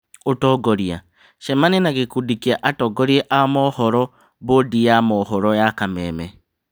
Ũtongoria : cemania na gĩkundi kĩa atongoria a mohoro: bũndi ya mohoro ya Kameme